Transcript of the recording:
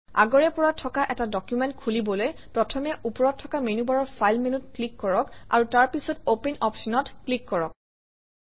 আগৰে পৰা থকা এটা ডকুমেণ্ট খুলিবলৈ প্ৰথমে ওপৰত থকা মেনুবাৰৰ ফাইল মেনুত ক্লিক কৰক আৰু তাৰ পিছত অপেন অপশ্যনত ক্লিক কৰক